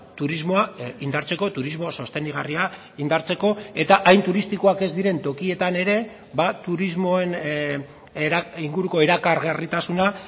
turismoa indartzeko turismo sostengarria indartzeko eta hain turistikoak ez diren tokietan ere turismoen inguruko erakargarritasuna